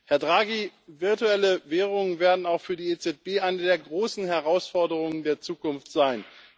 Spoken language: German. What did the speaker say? Herr Draghi, virtuelle Währungen werden auch für die EZB eine der großen Herausforderungen der Zukunft sein.